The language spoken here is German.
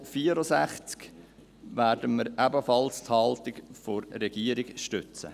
Bei der Motion zum Traktandum 64 werden wir ebenfalls die Haltung der Regierung stützen.